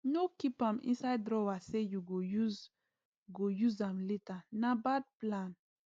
no keep am inside drawer say you go use go use am later na bad plan